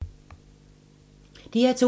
DR2